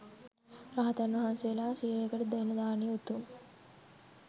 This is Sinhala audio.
රහතන් වහන්සේලා සියයකට දෙන දානය උතුම්.